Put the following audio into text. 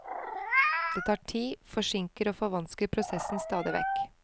Det tar tid, forsinker og forvansker prosessen stadig vekk.